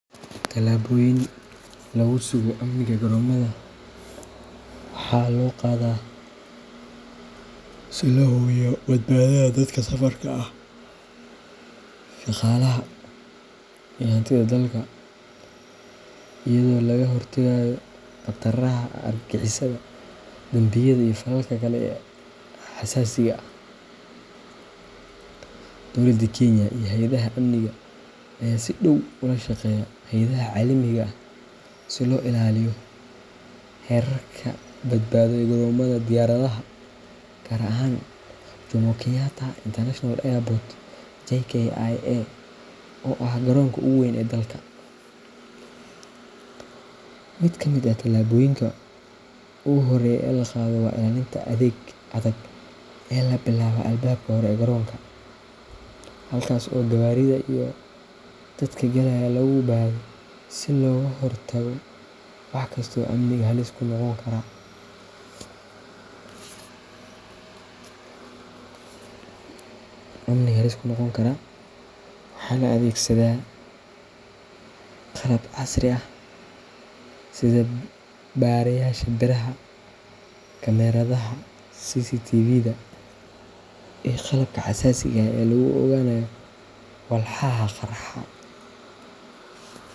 Tallaabooyinka lagu sugo amniga garoomada waxaa loo qaadaa si loo hubiyo badbaadada dadka safarka ah, shaqaalaha, iyo hantida dalka, iyadoo laga hortagayo khataraha argagixisada, dambiyada, iyo falalka kale ee xasaasiga ah. Dowladda Kenya iyo hay’adaha amniga ayaa si dhow ula shaqeeya hay’adaha caalamiga ah si loo ilaaliyo heerarka badbaado ee garoomada diyaaradaha, gaar ahaan Jomo Kenyatta International Airport JKIA oo ah garoonka ugu weyn ee dalka. Mid ka mid ah tallaabooyinka ugu horreeya ee la qaado waa ilaalinta adag ee laga bilaabo albaabka hore ee garoonka, halkaas oo gawaarida iyo dadka galaya lagu baadho si looga hortago wax kasta oo amniga halis ku noqon kara. Waxaa la adeegsadaa qalab casri ah sida baarayaasha biraha, kamaradaha CCTVda, iyo qalabka xasaasiga ah ee lagu ogaanayo walxaha qarxa.